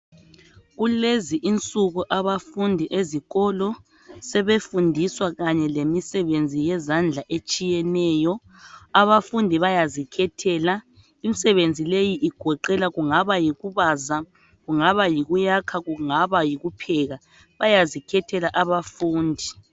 Kulezi insuku abafundi ezikolo sebefundiswa lemisebenzi yezandla etshiyeneyo abafundi bayazikhethela imisebenzi leyi igoqela kungaba yikubaza kungaba yikuyakha kungaba yikupheka bayazikhethela abafundi